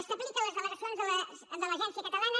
establir que les delegacions de l’agència catalana